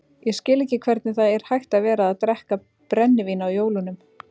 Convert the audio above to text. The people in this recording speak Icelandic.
Ég skil ekki hvernig það er hægt að vera að drekka brennivín á jólunum.